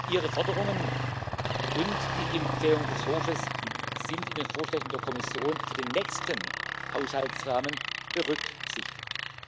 Ihre Forderungen und die Empfehlungen des Hofes sind in den Vorschlägen der Kommission für den nächsten Haushaltsrahmen berücksichtigt.